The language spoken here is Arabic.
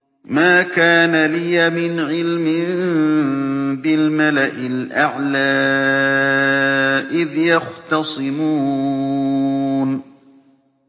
مَا كَانَ لِيَ مِنْ عِلْمٍ بِالْمَلَإِ الْأَعْلَىٰ إِذْ يَخْتَصِمُونَ